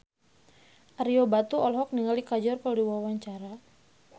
Ario Batu olohok ningali Kajol keur diwawancara